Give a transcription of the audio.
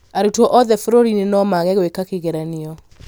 Arutwo othe bũrũri-inĩ no maage gwika kĩgeranio